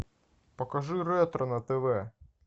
покажи ретро на тв